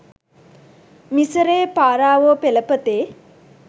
මිසරයේ පාරාවෝ පෙළපතේ